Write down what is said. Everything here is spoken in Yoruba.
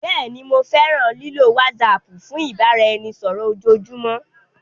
Bẹẹni, Mo fẹran lilo WhatsApp fun ibaraẹnisọrọ ojoojumọ.